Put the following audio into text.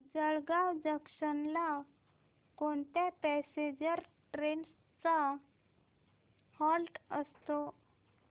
Jalgaon junction ला कोणत्या passenger trains चा हॉल्ट असतो